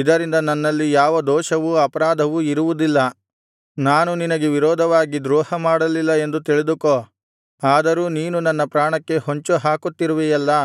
ಇದರಿಂದ ನನ್ನಲ್ಲಿ ಯಾವ ದೋಷವೂ ಅಪರಾಧವೂ ಇರುವುದಿಲ್ಲ ನಾನು ನಿನಗೆ ವಿರೋಧವಾಗಿ ದ್ರೋಹಮಾಡಲಿಲ್ಲ ಎಂದು ತಿಳಿದುಕೋ ಆದರೂ ನೀನು ನನ್ನ ಪ್ರಾಣಕ್ಕೆ ಹೊಂಚು ಹಾಕುತ್ತಿರುವಿಯಲ್ಲಾ